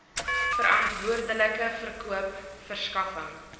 verantwoordelike verkoop verskaffing